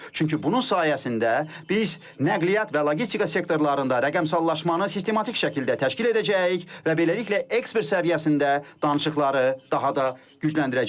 Çünki bunun sayəsində biz nəqliyyat və logistika sektorlarında rəqəmsallaşmanı sistematik şəkildə təşkil edəcəyik və beləliklə ekspert səviyyəsində danışıqları daha da gücləndirəcəyik.